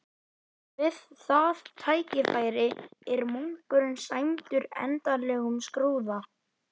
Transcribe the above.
Við það tækifæri er munkurinn sæmdur endanlegum skrúða.